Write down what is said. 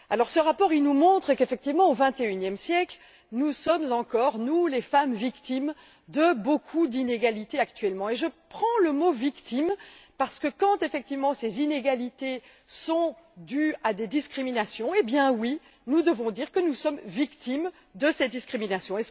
Ce rapport nous montre, effectivement, qu'au vingt et unième siècle, nous sommes encore nous les femmes victimes de beaucoup d'inégalités actuellement. J'utilise le mot victime, parce qu'effectivement, quand ces inégalités sont dues à des discriminations, eh bien oui, nous devons dire que nous sommes victimes de ces discriminations.